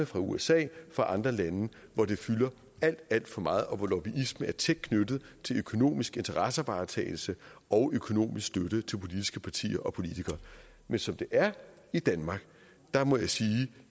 fra usa og fra andre lande og hvor det fylder alt alt for meget og hvor lobbyisme er tæt knyttet til økonomisk interessevaretagelse og økonomisk støtte til politiske partier og politikere men som det er i danmark må jeg sige